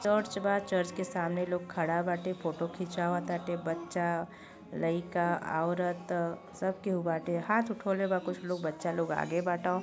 Church बा। Church के सामने लोग खड़ा बाटे। फोटो खिचावताटे। बच्चा लईकाऔरत सब केहु बाटे। हाथ उठवले बा कुछ लोग। बच्चा लोग आगे बाट।